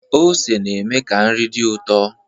Ose na-eme ka nri dị ụtọ